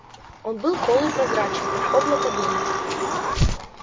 он был полупрозрачен как облако дыма